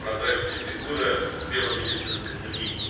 прозрачная фигура в белом медицинском унике